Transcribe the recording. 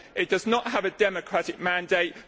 It does not have a democratic mandate.